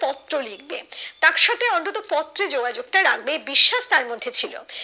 পত্র লিখবে তার সাথে অন্তত পত্রে যোগাযোগ টা রাখবে বিশ্বাস তার মধ্যে ছিল